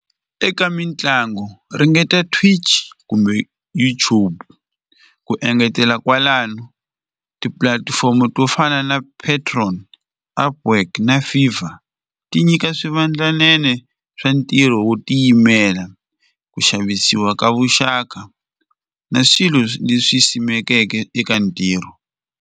Eka mitlangu ringeta Twitch kumbe YouTube, ku engetela kwalano tipulatifomo to fana na Patreon, na Fifa ti nyika swivandlanene swa ntirho wo tiyimela, ku xavisiwa ka vuxaka na swilo leswi simekeke eka ntirho.